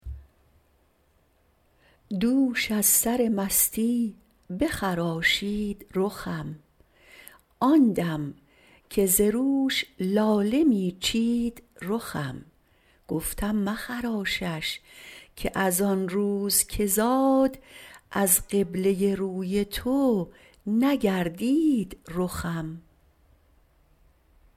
دوش از سر مستی بخراشید رخم آندم که زروش لاله میچید رخم گفتم مخراشش که از آنروز که زاد از قبله روی تو نگردید رخم